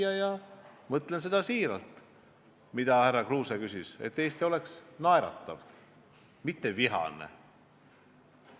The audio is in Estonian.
Ja ma soovin siiralt seda, mille kohta härra Kruuse küsis, et Eesti oleks naeratav, mitte vihane ühiskond.